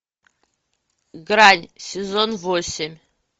грань сезон восемь